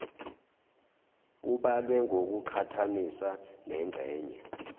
ubalwe ngokuqhathanisa nengxenye